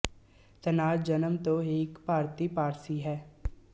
ਤਨਾਜ਼ ਜਨਮ ਤੋਂ ਹੀ ਇੱਕ ਭਾਰਤੀ ਪਾਰਸੀ ਹੈ